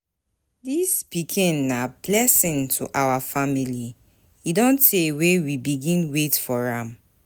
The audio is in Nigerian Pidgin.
Dis pikin na blessing to our family, e don tey wey we begin wait for am.